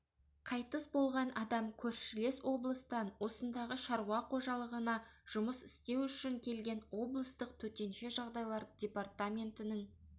қайтыс болған адам көршілес облыстан осындағы шаруа қожалығына жұмыс істеу үшін келген облыстық төтенше жағдайлар департаментінің